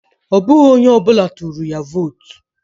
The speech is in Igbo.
Ọ bụghị onye ọbụla tụrụ ya vootu